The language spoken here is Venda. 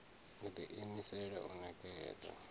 u ḓi imisela u ṋekedza